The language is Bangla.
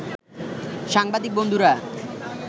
সাংবাদিক বন্ধুরা